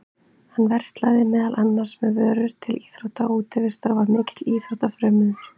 Hann verslaði meðal annars með vörur til íþrótta og útivistar og var mikill íþróttafrömuður.